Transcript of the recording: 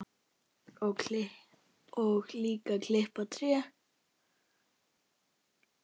Og líka klippa tré.